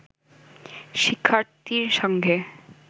শিক্ষার্থীর সঙ্গে